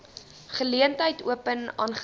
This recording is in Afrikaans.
geleentheid open aangesien